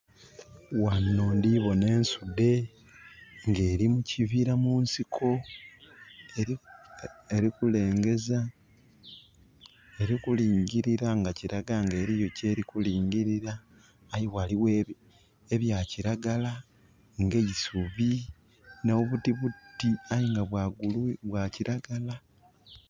Ghano ndi bona ensudhe, nga eli mu kibira mu nsiko, eli kulengeza, elikulingilira nga kilaga nga eliyo kyeli kulingilira. Aye ghaligho ebya kiragala, nga eisubi nh'obutibuti aye nga bwa kiragala.